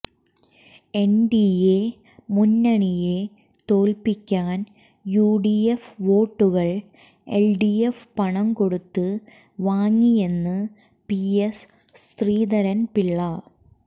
NDA മുന്നണിയെ തോൽപ്പിക്കാൻ UDF വോട്ടുകൾ LDF പണം കൊടുത്ത് വാങ്ങിയെന്ന് പിഎസ് ശ്രീധരൻപിള്ള